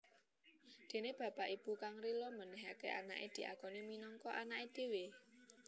Dene bapak/ibu kang rila menehake anake diakoni minangka anake dhewe